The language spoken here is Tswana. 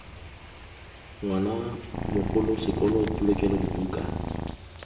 ngwana mogolo sekolo polokelo dibuka